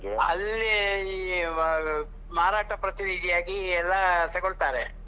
ಅಲ್ಲಿ ಈ ಮಾರಾಟ ಪ್ರತಿನಿಧಿಯಾಗಿ ಎಲ್ಲಾ ತಗೋಳ್ತಾರೆ.